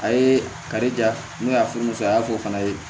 A ye kari ja n'u y'a furu musoya ko fana ye